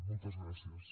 moltes gràcies